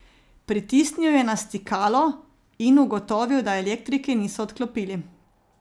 Pritisnil je na stikalo in ugotovil, da elektrike niso odklopili.